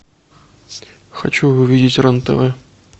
хочу увидеть рен тв